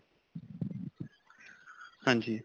ਹਾਂਜੀ.